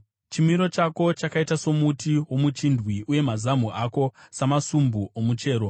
Chimiro chako chakaita somuti womuchindwe; uye mazamu ako samasumbu omuchero.